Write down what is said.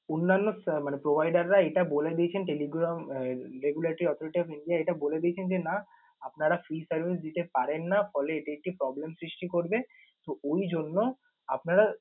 অন্যান্য আহ মানে provider রা এটা বলে দিয়েছেন telegram উম regularity operator india এটা বলে দিয়েছেন যে না আপনারা free service দিতে পারেন না, ফলে এটি একটি problem সৃষ্টি করবে। তো ওই জন্য আপনারা